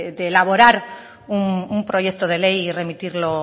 de elaborar un proyecto de ley y remitirlo